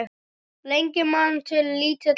Lengi man til lítilla stunda